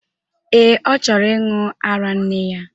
Ee, ọ chọrọ ịṅụ ara nne ya.